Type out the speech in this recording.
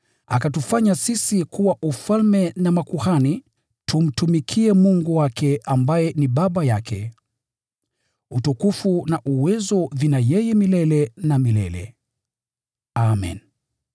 akatufanya sisi kuwa ufalme na makuhani, tumtumikie Mungu wake ambaye ni Baba yake. Utukufu na uwezo ni vyake milele na milele! Amen.